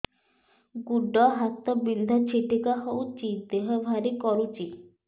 ଗୁଡ଼ ହାତ ବିନ୍ଧା ଛିଟିକା ହଉଚି ଦେହ ଭାରି କରୁଚି